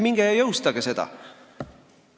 Minge ja jõustage see!